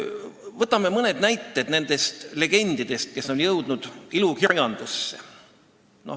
Võtame mõned näited legendidest, kes on jõudnud ilukirjandusse.